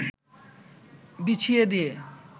বিছিয়ে দিয়ে